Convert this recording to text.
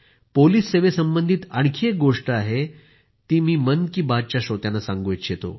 police सेवेसंबंधित आणखी एक गोष्ट आहे ती मी मन की बात च्या श्रोत्यांना सांगू इच्छितो